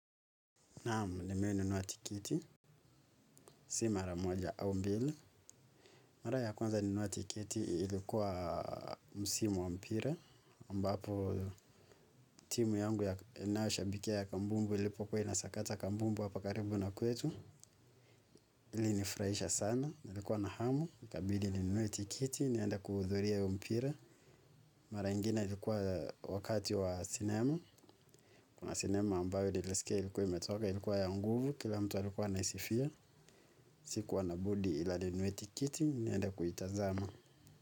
Naam, nimeinunua tiketi, si mara moja au mbili. Mara ya kwanza nilinunua tiketi, ilikuwa msimu wa mpira. Ambapo, timu yangu inayoshabikia kambumbu ilipokuwa inasakata kambumbu hapa karibu na kwetu. Ilinifurahisha sana, nilikuwa na hamu, ikabidi ninunue tiketi, niende kuhudhuria huu mpira. Mara ingine ilikuwa wakati wa sinema, kuna sinema ambayo nilisikia ilikuwa imetoka, ilikuwa ya nguvu, kila mtu alikuwa anaisifia. Sikuwa na budi ila ninunue tiketi niende kuitazama.